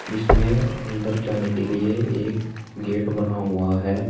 इसमें अंदर जाने के लिए एक गेट बना हुआ है।